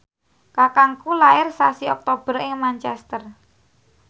kakangku lair sasi Oktober ing Manchester